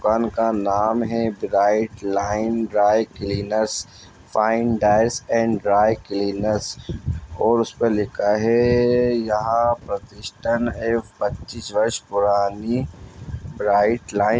दुकान का नाम है bright line dry cleaners fine dyers and dry cleaners और उस पर लिखा है यहाँ प्रतिष्टन है पच्चीस वर्ष पुरानी ब्राइट लाइन --